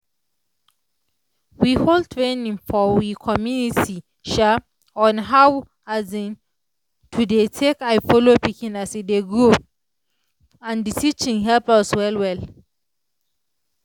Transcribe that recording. we hold training for we community um on how um to dey take eye follow pikin as e dey grow and the teaching help us well well.